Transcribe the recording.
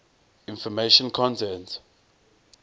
information content